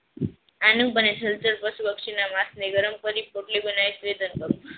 આનુ પશુ પક્ષી ના માસ ને ગરમ કરી પોટલી બનાઈ શ્રેધાન કરવું